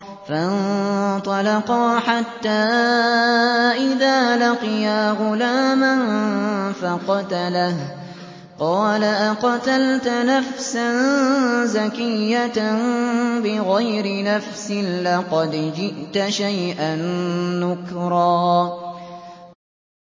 فَانطَلَقَا حَتَّىٰ إِذَا لَقِيَا غُلَامًا فَقَتَلَهُ قَالَ أَقَتَلْتَ نَفْسًا زَكِيَّةً بِغَيْرِ نَفْسٍ لَّقَدْ جِئْتَ شَيْئًا نُّكْرًا